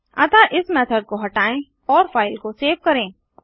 अतः इस मेथड को हटाएँ और फाइल को सेव करें